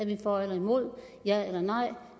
vi er for eller imod ja eller nej